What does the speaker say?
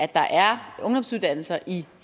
der er ungdomsuddannelser i